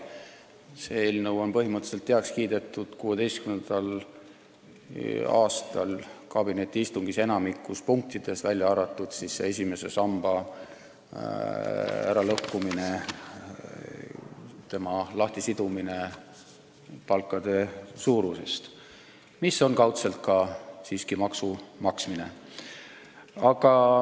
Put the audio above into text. See eelnõu on 2016. aastal kabinetiistungil põhimõtteliselt heaks kiidetud enamikus punktides, välja arvatud esimese samba äralõhkumine, selle lahtisidumine palkade suurusest, mis on kaudselt siiski ka maksu maksmine.